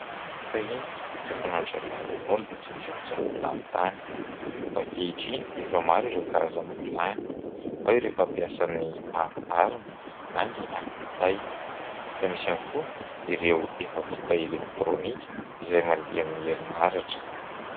Fahiny, rehefa hahandro sakafo ny Ntaolo, dia tsy misy afa tsy ny vilany tany. Fa ankehitriny, efa maro ireo karazana vilany : ao ireo fampiasa amin'ny afo arina, na ny afo kitay. Fa misy ihany koa ireo efa vita elektronika, izay mandeha amin'ny herinaratra.